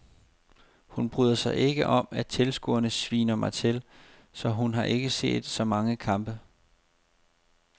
Hun bryder sig ikke om at tilskuerne sviner mig til, så hun har ikke set så mange kampe.